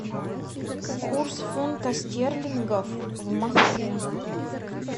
курс фунта стерлингов в москве